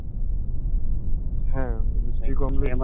হ্যাঁ বৃষ্টি কমলে।